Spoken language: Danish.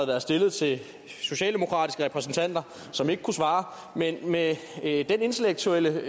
været stillet til socialdemokratiske repræsentanter som ikke kunne svare men med det intellektuelle